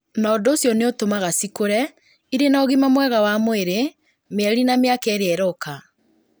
na ũndũ ũcio nĩ ũtũmaga cikũre irĩ na ũgima mwega wa mwĩrĩ mĩeri na mĩaka ĩrĩa ĩroka.